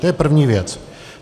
To je první věc.